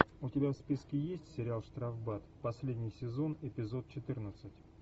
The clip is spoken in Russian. у тебя в списке есть сериал штрафбат последний сезон эпизод четырнадцать